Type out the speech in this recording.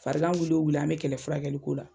Farigan wuli o wuli an be kɛlɛ furakɛliko la